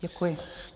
Děkuji.